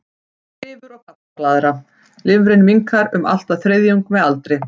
Lifur og gallblaðra Lifrin minnkar um allt að þriðjung með aldri.